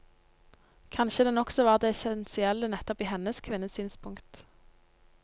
Kanskje den også var det essensielle nettopp i hennes kvinnesynspunkt.